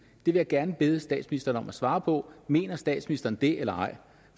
vil jeg gerne bede statsministeren svare på mener statsministeren det eller ej